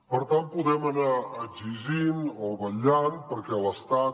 per tant podem anar exigint o vetllant perquè l’estat